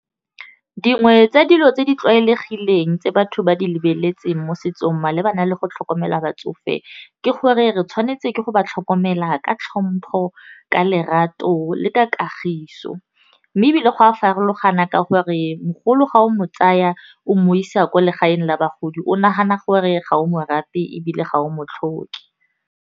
Dingwe tsa dilo tse di tlwaelegileng tse batho ba di lebeletseng mo setsong malebana le go tlhokomela batsofe, ke gore re tshwanetse ke go ba tlhokomela ka tlhompho, ka lerato le ka kagiso, mme ebile go a farologana ka gore mogolo ga o mo tsaya o mo isa kwa legaeng la bagodi o nagana gore ga o mo rate ebile ga o mo tlhoke.